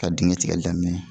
Ka digɛn tigɛli daminɛ